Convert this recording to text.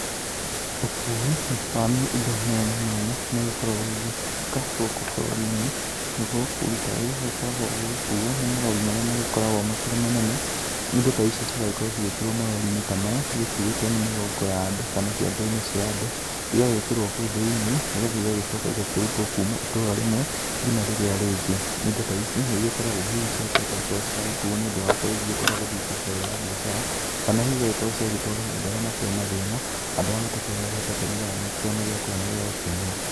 Ũkui wa indo mĩanya mĩanya nĩ ũgĩkoragwo ũgĩgĩkĩka gũkũ bũrũri-inĩ, naguo ũkui ta ũyũ ũgĩgĩkoragwo ũgĩgĩkuo nĩ marori marĩa magĩkoragwo makĩrĩ manene. Na indo ta ici cigagĩkorwo cigĩkĩrwo marori-inĩ ta maya igĩkuĩtwo nĩ mĩgongo ya andũ kana ciande-inĩ cia andũ. Igagĩkĩrwo kũu thĩinĩ nĩ getha igagĩcoka ikarutwo kuma itũra rĩmwe ngina rĩrĩa rĩngĩ. Indo ta ici nĩ igĩkora hihi ciakĩhota gũkorwo ciragĩkuo nĩ ũndũ wa gũkorwo hihi ciagĩthiĩ kũruta wĩra wa mbiacara kana hihi agĩkorwo ciagĩtwarĩrwo andũ hihi makĩrĩ na thĩna, andũ arĩa matakĩhotete nĩ getha magĩkĩone gĩakũrĩ na gĩagũkĩnyua.